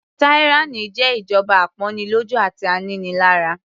Tyranny jẹ́ ìjọba apọ́nilọ́jú àti aninilára.